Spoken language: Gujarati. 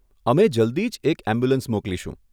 અમે જલ્દી જ એક એમ્બ્યુલન્સ મોકલીશુ.